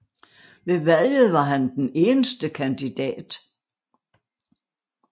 Ved valget var han den eneste kandidat